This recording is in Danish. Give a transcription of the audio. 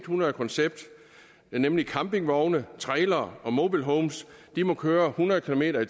hundrede koncept nemlig campingvogne trailere og mobile homes må køre hundrede kilometer